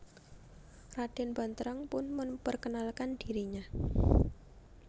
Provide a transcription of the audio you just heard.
Raden Banterang pun memperkenalkan dirinya